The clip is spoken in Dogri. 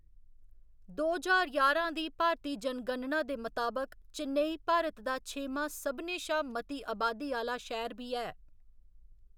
दो ज्हार ञारां दी भारतीय जनगणना दे मताबक चेन्नई भारत दा छेमा सभनें शा मती आबादी आह्‌ला शैह्‌र बी ऐ।